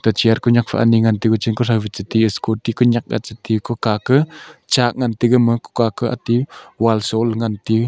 te chair konyak fa ani ngan teyu gachun tho ka che te scooty konyak ga che teyu kokha ka chak ngan teyu gama kokha kah atey Wall shon la ngan teyu.